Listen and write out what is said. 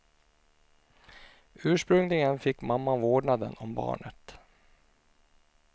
Ursprungligen fick mamman vårdnaden om barnet.